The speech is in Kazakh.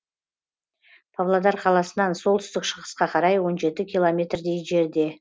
павлодар қаласынан солтүстік шығысқа қарай он жеті километрдей жерде